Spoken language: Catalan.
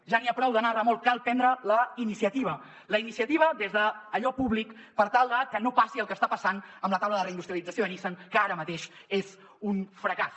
ja n’hi ha prou d’anar a remolc cal prendre la iniciativa la iniciativa des d’allò públic per tal de que no passi el que està passant amb la taula de reindustrialització de nissan que ara mateix és un fracàs